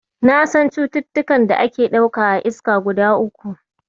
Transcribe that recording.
Na san cututtukan da ake ɗauka a iska guda uku.